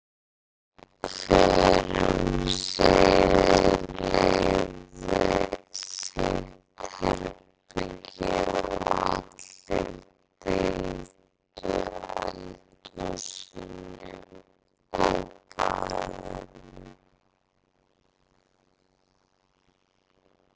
Hver um sig leigði sitt herbergi og allir deildu eldhúsinu og baðinu.